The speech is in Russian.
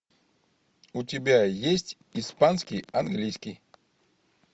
у тебя есть испанский английский